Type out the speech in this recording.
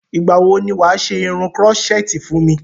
Ìgbà wo ni wà á ṣe irun krọ́ṣẹ́tì fún mi?